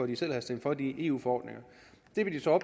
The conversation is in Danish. de selv havde stemt for de eu forordninger